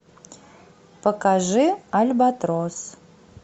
покажи альбатрос